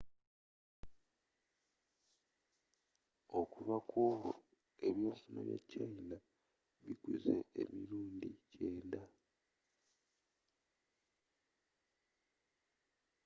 okuva n'olwo ebyenfuna bya china bikuze emirundi 90